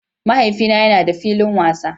Mahaifina yana da filin wasa